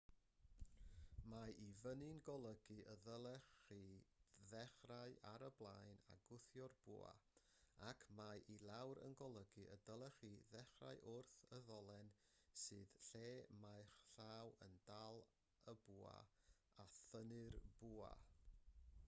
mae i fyny'n golygu y dylech chi ddechrau ar y blaen a gwthio'r bwa ac mae i lawr yn golygu y dylech chi ddechrau wrth y ddolen sydd lle mae'ch llaw yn dal y bwa a thynnu'r bwa